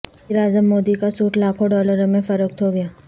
وزیراعظم مودی کا سوٹ لاکھوں ڈالر میں فروخت ہو گیا